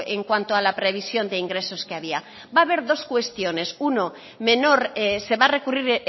en cuanto a la previsión de ingresos que había va a haber dos cuestiones uno menor se va a recurrir